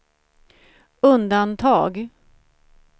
undantag